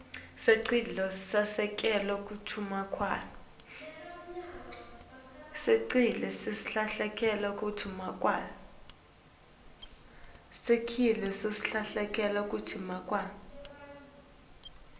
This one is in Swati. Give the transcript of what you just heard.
sicelo seselekelelo sekunakekelwa